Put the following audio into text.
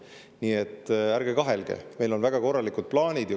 Nii et ärge kahelge, meil on väga korralikud plaanid.